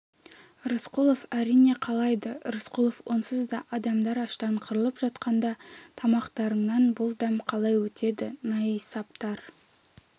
рысқұлов әрине қалайды рысқұлов онсыз да адамдар аштан қырылып жатқанда тамақтарыңнан бұл дәм қалай өтеді найсаптар